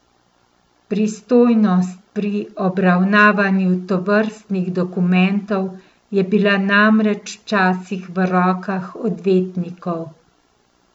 Pristojnost pri obravnavanju tovrstnih dokumentov je bila namreč včasih v rokah odvetnikov.